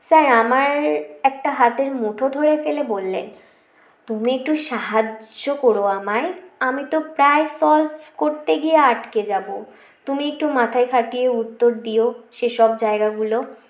sir আমার একটা হাতের মুঠো ধরে ফেলে বললেন তুমি একটু সাহায্য কোরো আমায় আমি তো প্রায় solve করতে গিয়ে আটকে যাব তুমি একটু মাথা খাটিয়ে উত্তর দিও সে সব জায়গাগুলো